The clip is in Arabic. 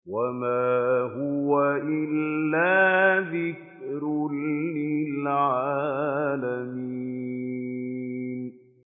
وَمَا هُوَ إِلَّا ذِكْرٌ لِّلْعَالَمِينَ